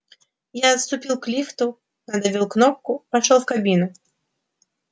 я отступил к лифту надавил кнопку вошёл в кабину